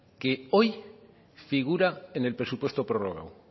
que hoy figura en el presupuesto prorrogado